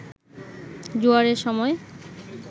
জোয়ারের সময়